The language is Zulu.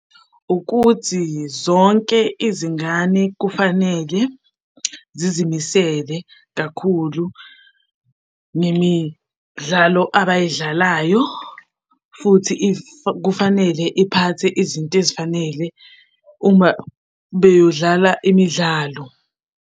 Ukuthi zonke izingane kufanele zizimisele kakhulu nemidlalo abayidlalayo futhi kufanele iphathe izinto ezifanele uma beyodlala imidlalo.